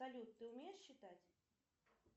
салют ты умеешь считать